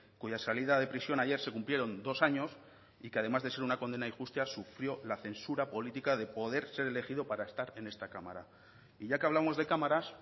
cuya salida de prisión ayer se cumplieron dos años y que además de ser una condena injusta sufrió la censura política de poder ser elegido para estar en esta cámara y ya que hablamos de cámaras